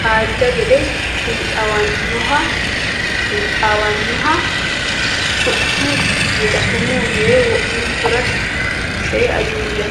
kajja gede xiinxaawannoho Sumuu yee wo’munkura see Ajuuja.